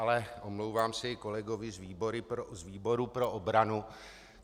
Ale omlouvám se i kolegovi z výboru pro obranu.